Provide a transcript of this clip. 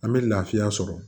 An bɛ lafiya sɔrɔ